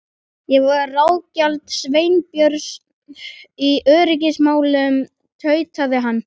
Ég var ráðgjafi Sveinbjörns í öryggismálum- tautaði hann.